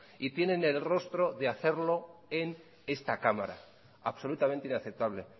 y tiene el rostro de hacerlo en esta cámara absolutamente inaceptable